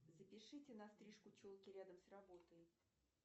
запишите на стрижку челки рядом с работой